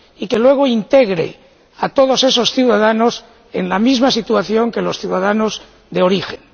Y que luego integre a todos esos ciudadanos en la misma situación que los ciudadanos de origen.